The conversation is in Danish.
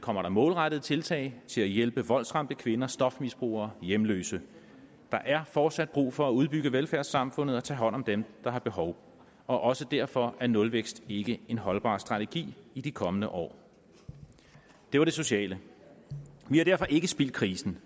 kommer der målrettede tiltag til at hjælpe voldsramte kvinder stofmisbrugere hjemløse der er fortsat brug for at udbygge velfærdssamfundet og at tage hånd om dem der har behov og også derfor er nulvækst ikke en holdbar strategi i de kommende år det var det sociale vi har derfor ikke spildt krisen